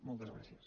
moltes gràcies